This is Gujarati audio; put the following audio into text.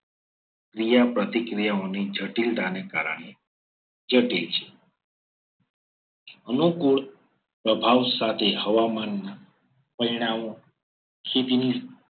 પ્રિયા પ્રતિક્રિયાઓની જટિલતાની કારણે જટિલ છે. અનુકૂળ પ્રભાવ સાથે હવામાનનો પરિણામો ખેતીની